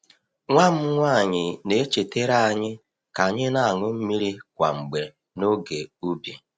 Nwa m nwanyị na-echetere anyị ka anyị na-aṅụ mmiri kwa mgbe n’oge ubi.